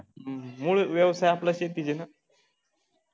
हम्म मूळ व्यवसाय आपला शेतीच आहे ना